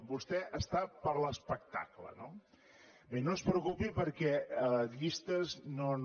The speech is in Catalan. vostè està per l’espectacle no bé no es preocupi perquè llistes no